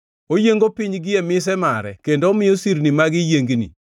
Oyiengo piny gie mise mare kendo omiyo sirni mage yiengni.